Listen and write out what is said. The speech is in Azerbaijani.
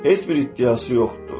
Heç bir iddiası yoxdur.